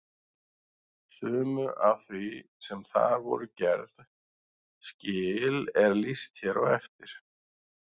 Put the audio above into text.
Sumu af því sem þar voru gerð skil er lýst hér á eftir.